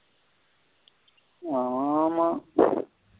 ஆமா.